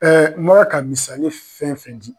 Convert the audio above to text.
n bɔra ka misali fɛn fɛn di